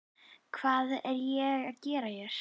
Hvað er ég að gera hér?